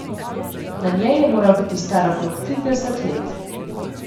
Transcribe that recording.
Na njej je moral biti star okrog trideset let.